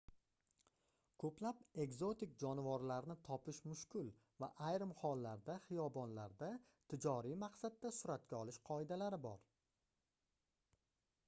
koʻplab ekzotik jonivorlarni topish mushkul va ayrim hollarda xiyobonlarda tijoriy maqsadda suratga olish qoidalari bor